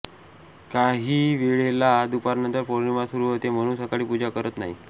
काहीवेळेला दुपारनंतर पौर्णिमा सुरू होते म्हणून सकाळी पूजा करत नाही